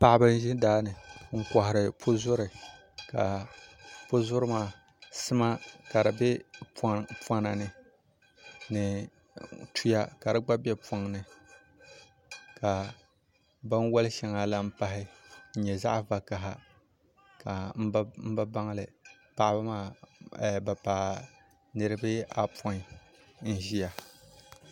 Paɣaba n ʒi daani n kohari puzuri ka puzuri maa ka sima ka di bɛ binyɛra ni ni sima gba bɛ poŋni ka binwoli shɛŋa lahi pahi n nyɛ zaɣ vakaɣa n bi baŋli ka paɣaba maa bi paai niraba apoin n ʒiya